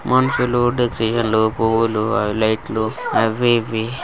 మనుషులు పువ్వులు అ లైట్లు అవి ఇవి.